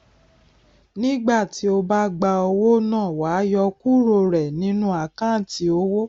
nígbà tí o bá gba owó náà wàá yọ ọ kúrò rẹ nínú àkántì owó